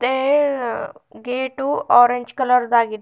ಏಏಉ gate orange colour ದಾಗಿದೆ.